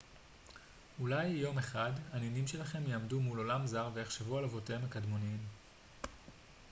אולי יום אחד הנינים שלכם יעמדו מול עולם זר ויחשבו על אבותיהם הקדמוניים